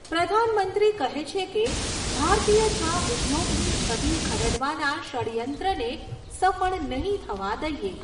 પ્રધાનમંત્રી કહે છે કે ભારતીય ચા ઉદ્યોગની છબી ખરડવાના ષડ્યંત્રને સફળ નહીં થવા દઈએ.